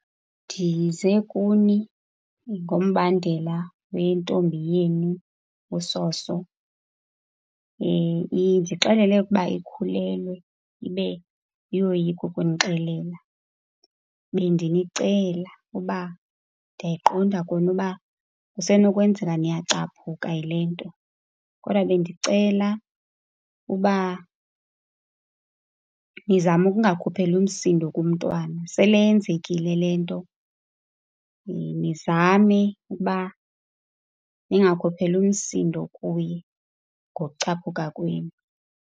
Ndize kuni ngombandela wentombi yenu uSoso. Indixelele ukuba ikhulelwe ibe iyoyika ukunixelela. Bendinicela uba, ndiyayiqonda kona uba kusenokwenzeka niyacaphuka yile nto. Kodwa bendicela uba nizame ukungakhupheli umsindo kumntwana, sele yenzekile le nto. Nizame ukuba ningakhupheli umsindo kuye ngokucaphuka kwenu.